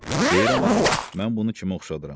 Deyirəm axı, mən bunu kimə oxşadıram.